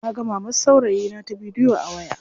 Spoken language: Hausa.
Naga mamar saurayina ta bidiyo a waya.